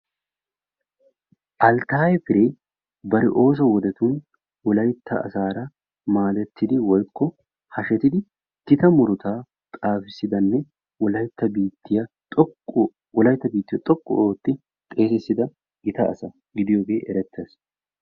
Alttaaye Piree ba ooso wodetun Wolaytta asaara maadettidi/hashetidi gita murutaa xaafissida asanne Wolaytta biittiyo xoqqu ootti xeesissida gita asa gidiyogee erettees.